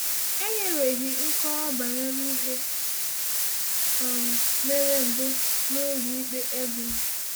E nyereghị nkọwa banyere ihe um mere mbụ n’ụlọ ikpe Eglon.